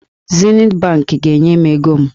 Zenit bankị ga-enye m ego m.